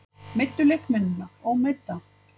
Meiddu leikmennina, ómeidda?